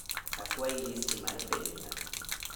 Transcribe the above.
Akwayi listi mar penjo na